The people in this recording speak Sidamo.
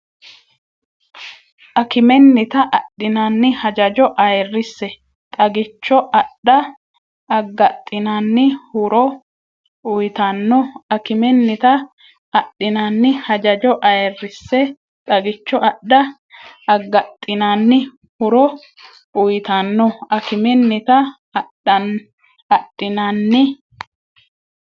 Akimennita adhinanni hajajo ayirrise xagicho adha aggaxxinanni huro uyitanno Akimennita adhinanni hajajo ayirrise xagicho adha aggaxxinanni huro uyitanno Akimennita adhinanni.